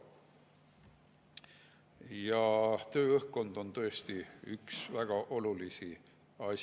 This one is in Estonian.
Tööõhkkond on tõesti üks väga olulisi asjaolusid.